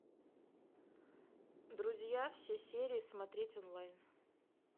друзья все серии смотреть онлайн